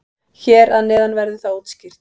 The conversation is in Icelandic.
Hér að neðan verður það útskýrt.